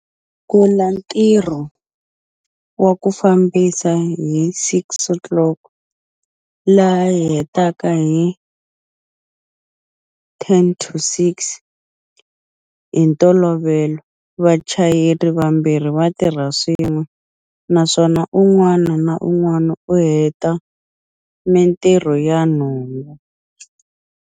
Sungula ntirho wa ku fambisa hi 06-00 laha hi hetaka hi 17-50. Hi ntolovelo, vachayeri vambirhi va tirha swin'we, naswona un'wana na un'wana u heta mitirho ya nhungu.